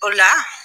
O la